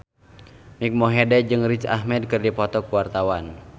Mike Mohede jeung Riz Ahmed keur dipoto ku wartawan